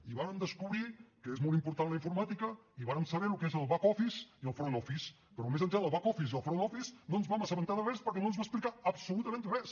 i vàrem descobrir que és molt important la informàtica i vàrem saber el que és el back office i el front office però més enllà del back office i el front office no ens vam assabentar de res perquè no ens va explicar absolutament res